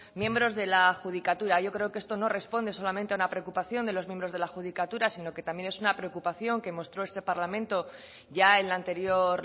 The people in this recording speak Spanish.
miembros de la judicatura yo creo que esto no responde solamente a una preocupación de los miembros de la judicatura sino que también es una preocupación que mostró este parlamento ya en la anterior